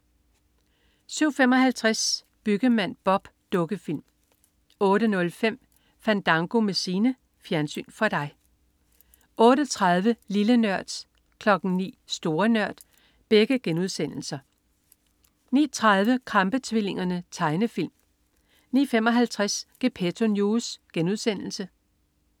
07.55 Byggemand Bob. Dukkefilm 08.05 Fandango med Signe. Fjernsyn for dig 08.30 Lille Nørd* 09.00 Store Nørd* 09.30 Krampe-tvillingerne. Tegnefilm 09.55 Gepetto News*